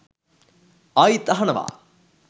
ආයිත් අහනවා